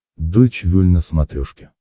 дойч вель на смотрешке